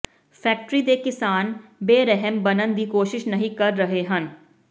factory ਦੇ ਕਿਸਾਨ ਬੇਰਹਿਮ ਬਣਨ ਦੀ ਕੋਸ਼ਿਸ਼ ਨਹੀਂ ਕਰ ਰਹੇ ਹਨ